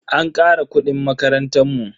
An kara kudin makarantan mu.